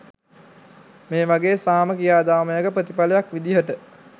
මේ වගේ සාම ක්‍රියාදාමයක ප්‍රතිඵලයක් විදිහට.